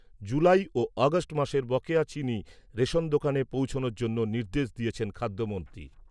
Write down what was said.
জুলাই ও আগষ্ট মাসের বকেয়া চিনি রেশন দোকানে পৌঁছানোর জন্য নির্দেশ দিয়েছেন খাদ্যমন্ত্রী।